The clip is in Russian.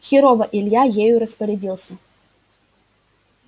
херово илья ею распорядился